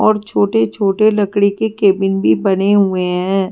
और छोटे-छोटे लकड़ी के कैबिन भी बने हुए हैं।